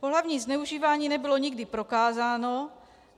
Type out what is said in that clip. Pohlavní zneužívání nebylo nikdy prokázáno.